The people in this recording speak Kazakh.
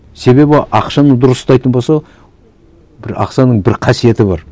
себебі ақшаны дұрыс ұстайтын болса бір ақшаның бір қасиеті бар